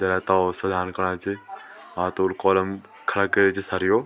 जरा तोल सजाण कणा च और थोड़ू कोलम खड़ा कार्या छिन सरयो।